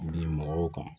Bi mɔgɔw kan